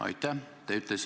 Aitäh!